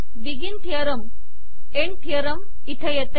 begin theorem end theorem येथे येते